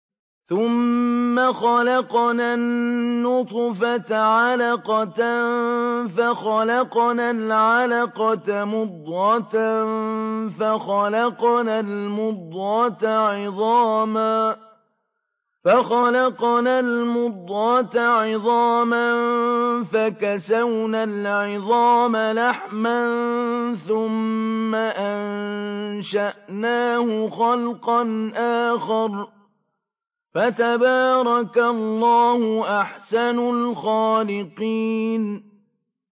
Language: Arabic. ثُمَّ خَلَقْنَا النُّطْفَةَ عَلَقَةً فَخَلَقْنَا الْعَلَقَةَ مُضْغَةً فَخَلَقْنَا الْمُضْغَةَ عِظَامًا فَكَسَوْنَا الْعِظَامَ لَحْمًا ثُمَّ أَنشَأْنَاهُ خَلْقًا آخَرَ ۚ فَتَبَارَكَ اللَّهُ أَحْسَنُ الْخَالِقِينَ